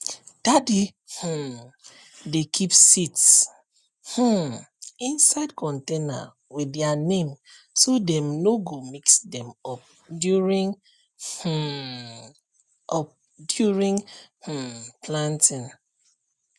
daddy um dey keep seeds um inside container with their name so dem no go mix them up during um up during um planting